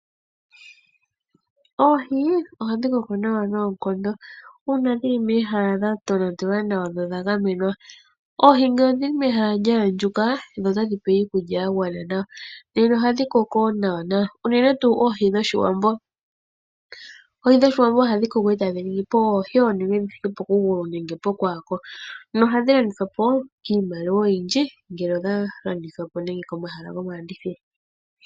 Oohi ohadhi koko nawa noonkondo uuna dhi li mehala dha tonatelwa nawa nodha gamenwa. Oohi ngele odhi li mehala lya andjuka notadhi pewa iikulya ya gwana nawa, ohadhi koko nawa, unene tuu oohi dhOshiwambo. Oohi dhOshiwambo ohadhi koko e tadhi ningi po oohi oonene dhi thike pokugulu nenge pokwaako nohadhi landithwa po kiimaliwa oyindji ngele odha landithwa po komahala gomalandithilo.